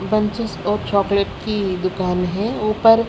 और चॉकलेट की दुकान है ऊपर--